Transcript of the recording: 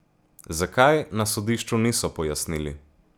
Zakaj, na sodišču niso pojasnili.